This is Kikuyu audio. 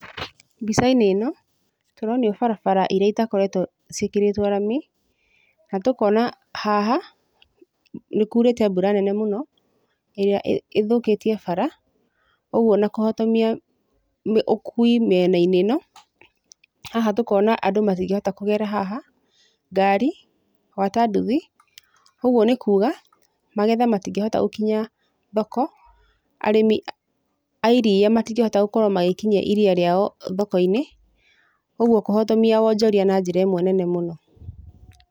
Mbica-inĩ ĩno, tũronio barabara iria itakoretwo ciĩkĩrĩtwo rami, na tũkona haha, nĩkurĩte mbura nene mũno, ĩrĩa ĩthũkĩtie bara, ũguo na kũhotomia ũkui mĩena-inĩ ĩno, haha tũkona andũ matingĩhota kũgera haha, ngari, gwata nduthi, uguo nĩkuga magetha matingĩhota gũkinya thoko, arĩmi a iria matingĩhota gũkorwo magĩkinyia iria rĩao thoko-inĩ, ũguo kũhotomia wonjoria na njĩra ĩmwe nene mũno.